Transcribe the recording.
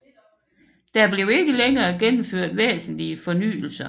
Der blev ikke længere gennemført væsentlige fornyelser